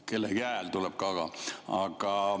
Kellegi hääl tuleb ka ...